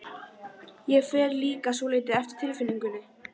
Ég fer líka svolítið eftir tilfinningunni.